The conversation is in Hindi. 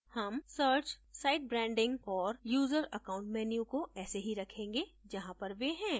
हम search site branding और user account menu को ऐसे ही रखेंगे जहाँ पर वे हैं